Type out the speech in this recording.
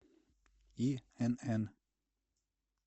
инн